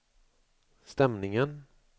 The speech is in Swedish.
stämningen